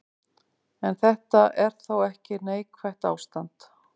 En þetta er þó ekki neikvætt ástand.